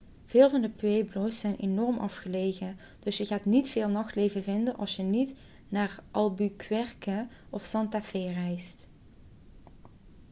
veel van de pueblo's zijn enorm afgelegen dus je gaat niet veel nachtleven vinden als je niet naar albuquerque of santa fe reist